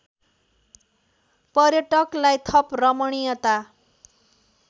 पर्यटकलाई थप रमणीयता